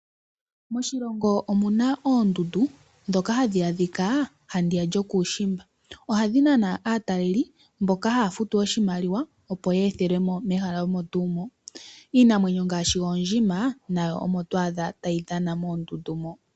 Moshilongo omuna oondundu, ndhoka hadhi adhika handiya lyokuushimba. Ohadhi nana aatalelipo mboka haya futu iimaliwa, opo ye ethelwemo mehala omo tuu mono. Iinamwenyo ngaashi oondjima, nayo omo to adha tayi dhana moondundu mono.